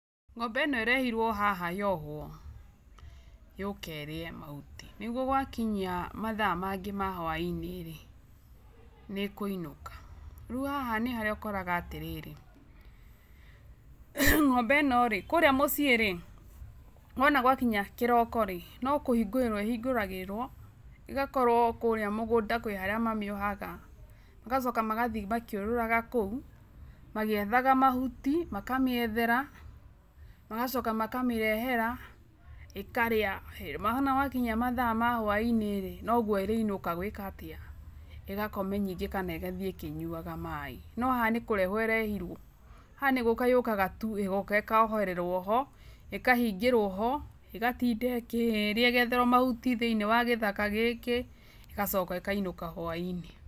Ng'ombe ĩno ĩrehirwo haha yohwo, yũke ĩrĩe mahuti, nĩguo gwakinya mathaa, mangĩ ma hwainĩ rĩ, nĩkũinũka, rĩu haha nĩharĩa ũkoraga atĩrĩrĩ, ng'ombe ĩno rĩ, kũrĩa mũciĩ rĩ, wona gwakinya kĩroko rĩ, nokũhingũrĩrwo ĩhingũragĩrwo, ĩgakorwo kũrĩa mũgũnda kwĩ harĩa mamĩohaga, magacoka magathiĩ makĩũrũraga kũu, magĩethaga mahuti, makamĩethera, magacoka makamĩrehera ĩkarĩa, he, wonamakinyia mathaa ma hwainĩ rĩ, noguo ĩrĩinũka gwĩka atĩa, ĩgakome kana ningĩ ĩgathiĩ ĩkĩnyuaga maĩ, no haha nĩkũrehwo ĩrehirwo, haha nĩgũka yũkaga tu ĩgoka ĩkohererwo ho, ikahingĩrwo ho, ĩgatinda ĩkĩĩrĩa ĩgetherwo mahuti thĩinĩ wa gĩthaka gĩkĩ, ĩgacoka ĩkainũka hwainĩ.